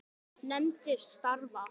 Nefndir starfa